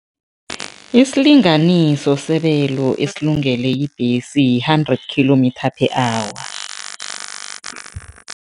Isilinganiso sebelo esilungele ibhesi yi-hundred kilometre per hour.